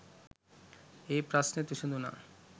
ඒ ප්‍රශ්නෙත් විසදුනා